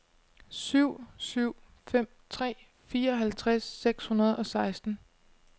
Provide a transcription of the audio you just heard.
syv syv fem tre fireoghalvtreds seks hundrede og seksten